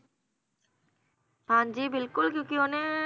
ਹਾਂਜੀ ਬਿਲਕੁਲ ਕਿਉਕਿ ਓਹਨੇ